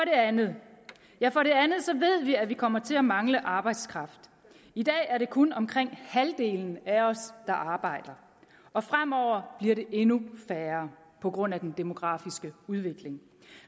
andet ved vi at vi kommer til at mangle arbejdskraft i dag er det kun omkring halvdelen af os der arbejder og fremover bliver det endnu færre på grund af den demografiske udvikling